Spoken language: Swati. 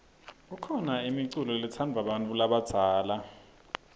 khona imiculo letsadvwa bantfu labadzala